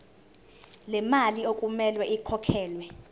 lemali okumele ikhokhelwe